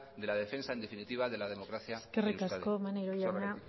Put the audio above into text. de la defensa en definitiva de la democracia en euskadi eskerrik asko maneiro jauna